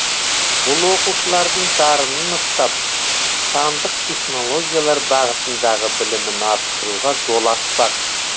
бұл оқушылардың дарынын ұштап сандық технологиялар бағытындағы білімін арттыруға жол ашпақ